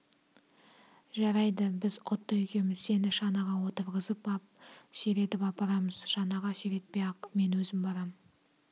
жарайды біз отто екеуміз сені шанаға отырғызып ап сүйретіп апарамыз шанаға сүйретпей-ақ мен өзім барам